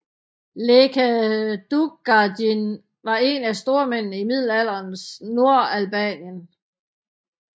Lekë Dukagjin var én af stormændene i middelalderens Nordalbanien